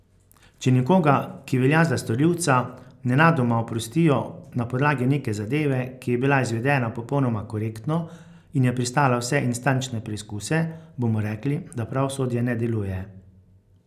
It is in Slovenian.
Če nekoga, ki velja za storilca, nenadoma oprostijo na podlagi neke zadeve, ki je bila izvedena popolnoma korektno in je prestala vse instančne preizkuse, bomo rekli, da pravosodje ne deluje.